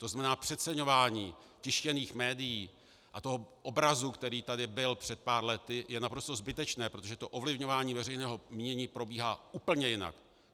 To znamená, přeceňování tištěných médií a toho obrazu, který tady byl před pár lety, je naprosto zbytečné, protože to ovlivňování veřejného mínění probíhá úplně jinak.